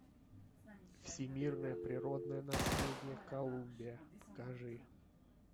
всемирное природное наследие колумбия покажи